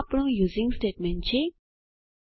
આ આપણું using statement છે